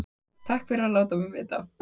Takk fyrir að láta mig vita